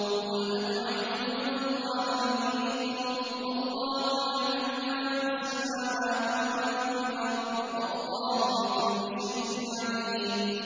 قُلْ أَتُعَلِّمُونَ اللَّهَ بِدِينِكُمْ وَاللَّهُ يَعْلَمُ مَا فِي السَّمَاوَاتِ وَمَا فِي الْأَرْضِ ۚ وَاللَّهُ بِكُلِّ شَيْءٍ عَلِيمٌ